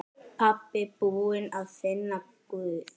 Pabbi búinn að finna Guð!